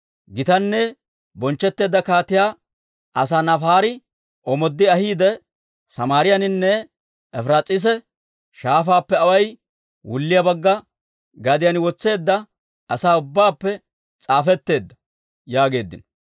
gitanne bonchchetteedda Kaatiyaa Asanaafari omooddi ahiide, Samaariyaaninne Efiraas'iisa Shaafaappe away wulliyaa Bagga Gadiyaan wotseedda asaa ubbaappe s'aafeetteedda» yaageeddino.